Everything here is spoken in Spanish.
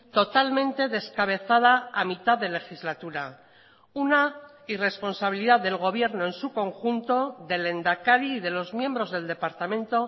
totalmente descabezada a mitad de legislatura una irresponsabilidad del gobierno en su conjunto del lehendakari y de los miembros del departamento